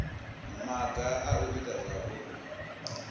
maga a u ita zwauri